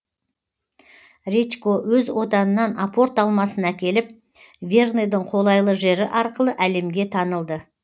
редько өз отанынан апорт алмасын әкеліп верныйдың қолайлы жері арқылы әлемге танылды